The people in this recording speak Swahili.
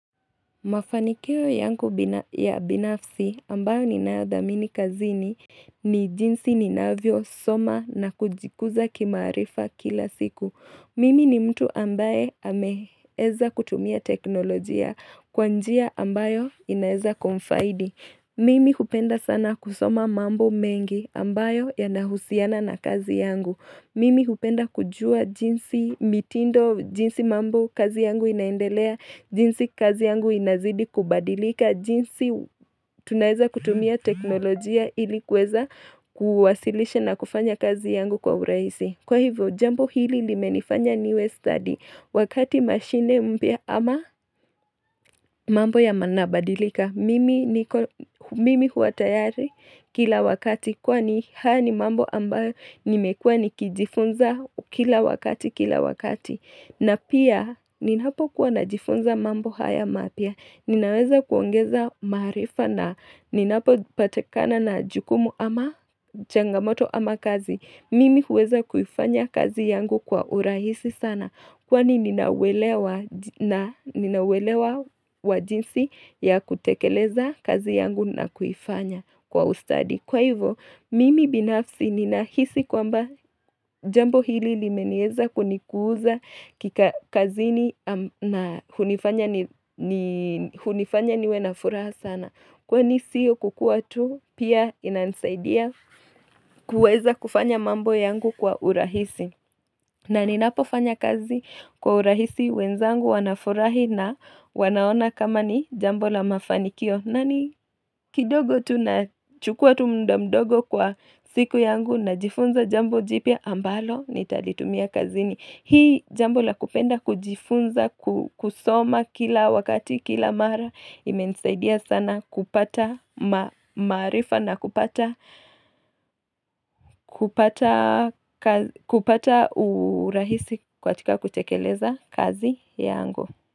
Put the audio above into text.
Mafanikio yangu ya binafsi ambayo ninayadhamini kazini ni jinsi ninavyo soma na kujikuza kimaarifa kila siku. Mimi ni mtu ambaye ameweza kutumia teknolojia kwa njia ambayo inaeza kumfaidi. Mimi hupenda sana kusoma mambo mengi ambayo yanahusiana na kazi yangu. Mimi hupenda kujua jinsi mitindo, jinsi mambo kazi yangu inaendelea, jinsi kazi yangu inazidi kubadilika, jinsi tunaweza kutumia teknolojia ili kuweza kuwasilisha na kufanya kazi yangu kwa urahisi. Kwa hivyo, jambo hili limenifanya niwe stadi wakati mashine mpya ama mambo yanabadilika. Mimi huwa tayari kila wakati kwani haya ni mambo ambayo nimekua nikijifunza kila wakati kila wakati. Na pia ninapokuwa najifunza mambo haya mapya. Ninaweza kuongeza maarifa na ninapo patikana na jukumu ama changamoto ama kazi mimi huweza kuifanya kazi yangu kwa urahisi sana. Kwani ninauelewa wajinsi ya kutekeleza kazi yangu na kuifanya kwa ustadi. Kwa hivyo, mimi binafsi ninahisi kwamba jambo hili limeweza kunikuza kazini na hunifanya niwe na furaha sana kwani sio kukuwa tu, pia inanisaidia kuweza kufanya mambo yangu kwa urahisi. Na ninapo fanya kazi kwa urahisi wenzangu wanafurahi na wanaona kama ni jambo la mafanikio. Na ni kidogo tu nachukua tu muda mdogo kwa siku yangu najifunza jambo jipya ambalo nitalitumia kazini. Hiil jambo la kupenda kujifunza kusoma kila wakati kila mara limensaidia sana kupata maarifa na kupata kupata urahisi katika kutekeleza kazi yangu.